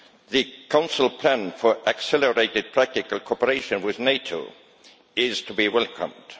The Council plan for accelerated practical cooperation with NATO is to be welcomed.